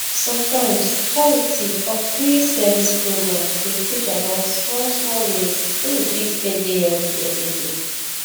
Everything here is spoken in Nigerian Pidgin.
sometimes charity or free service programs dey teach about small small ways wey we fit take dey healthy everyday